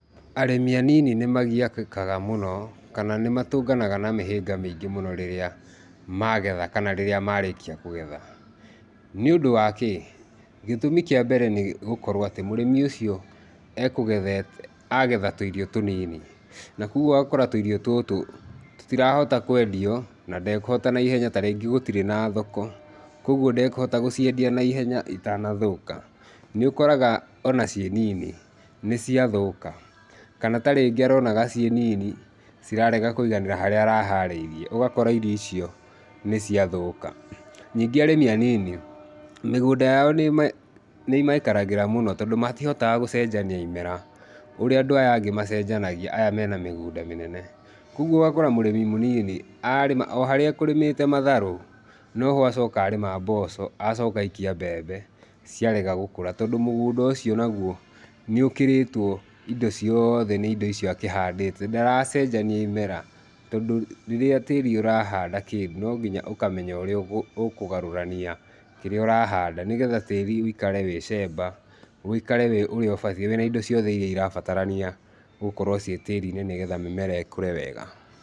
Arĩmĩ anini nĩmagiagĩkaga mũno, kana nĩ matũnganaga na mĩhĩnga mĩingĩ mũno rĩrĩa magetha kana rĩrĩa marĩkia kũgetha. Nĩũndũ wa kĩ? Gĩtũmi kĩambere nĩgũkorwo atĩ mũrĩmi ũcio ekũgethete agetha tũirio tũnini na koguo ogakora tũirio tutu tũtirahota kwendio na ndekuhota naihenya tarĩngĩ gũtirĩ na thoko kogũo ndakũhota gũciendia naihenya itanathũka nĩukoraga ona ciĩ nini nĩciathũka kana tarĩngĩ aronaga ciĩ nini cirarega kũiganĩra harĩa araharĩirie ũgakora irio icio nĩciathũka. Ningĩ arĩmi anini mĩgũnda yao nĩma nĩmaikaragĩra mũno tondũ matihotaga gũcenjania imera ũrĩa andũ aya angĩ macenjanagia aya mena mĩgũnda mĩnene, kogũo ũgakora mũrĩmi mũnini arĩma oharĩa ekũrĩmĩte matharu noho acoko arĩma mboco acoka aikia mbembe ciarega gũkũra tondu mũgunda ũcio nagũo nĩũkĩrĩtwo indo ciothe nĩ indo icio akĩhandĩte ndaracenjania imera tondũ rĩrĩa tĩri ũrahanda kĩndũ nonginya ũkamenya ũrĩa ũkũgarũrania kĩrĩa ũrahanda nĩgetha tĩri ũikare we cemba ũikare wĩ ũrĩa ũbatiĩ, wĩna indo iria ũrabatarania gũkorwo ciĩ tĩri-inĩ nĩgetha mĩmera ĩkũre wega.